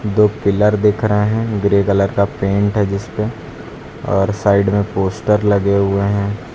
दो पिलर दिख रहे हैं ग्रे कलर का पेंट है जिसपे और साइड में पोस्टर लगे हुए हैं।